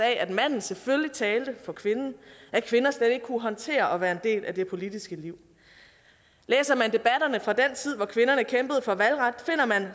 at manden selvfølgelig talte for kvinden og at kvinder slet ikke kunne håndtere at være en del af det politiske liv læser man debatterne fra den tid hvor kvinderne kæmpede for valgret finder man